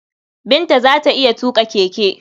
Binta za ta iya tuƙa keke.